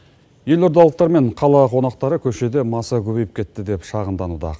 елордалықтар мен қала қонақтары көшеде маса көбейіп кетті деп шағымдануда